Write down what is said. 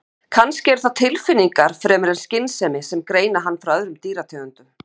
Kannski eru það tilfinningar fremur en skynsemi sem greina hann frá öðrum dýrategundum.